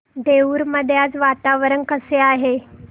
देऊर मध्ये आज वातावरण कसे आहे